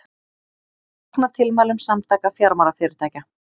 Fagna tilmælum Samtaka fjármálafyrirtækja